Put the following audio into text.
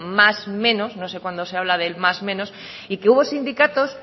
más o menos no sé cuándo se habla del más menos y que hubo sindicatos